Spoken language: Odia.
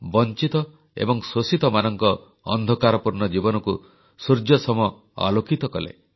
ବଂଚିତ ଏବଂ ଶୋଷିତମାନଙ୍କ ଅନ୍ଧକାରପୂର୍ଣ୍ଣ ଜୀବନକୁ ସୂର୍ଯ୍ୟସମ ଆଲୋକିତ କଲେ